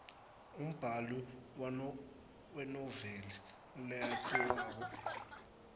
umbali wenoveli leyatiwako